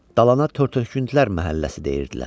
Dalana tər töküntülər məhəlləsi deyirdilər.